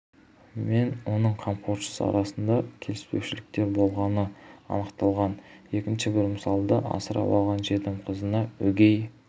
мен оның қамқоршысы арасында келіспеушіліктер болғаны анықталған екінші бір мысалда асырап алған жетім қызына өгей